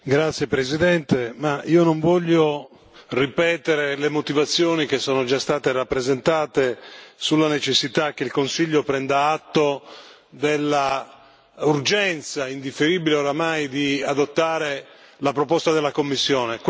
Signor Presidente, onorevoli colleghi, io non voglio ripetere le motivazioni che sono già state rappresentate sulla necessità che il Consiglio prenda atto della urgenza, indifferibile oramai, di adottare la proposta della Commissione.